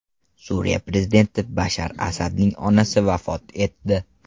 Suriya prezidenti Bashar Asadning onasi vafot etdi.